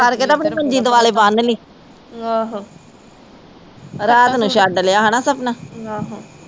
ਫੜ ਕੇ ਤੇ ਆਪਣੀ ਮੰਜੀ ਦੁਆਲੇ ਬਨਲੀ ਰਾਤ ਨੂੰ ਛੱਡ ਲਿਆ ਹੇਨਾ ਸਪਨਾ